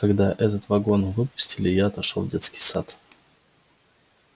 когда этот вагон выпустили я пошёл в детский сад